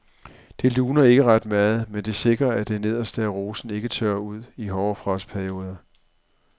Det luner ikke ret meget, men det sikrer at det nederste af rosen ikke tørrer ud i hårde frostperioder.